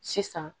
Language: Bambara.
Sisan